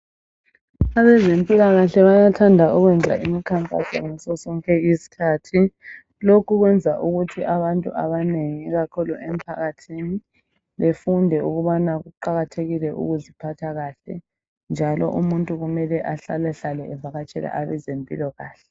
Abezempilakahle bayathanda ukwenza imikhankaso ngazozonke izikhathi .Lokhu kwenza ukuthi abantu abanengi ikakhulu emphakathini befunde ukubana kuqakathekile ukuziphatha kahle .Njalo umuntu kumele umuntu ahlala hlale evakatshele abezempilakahle .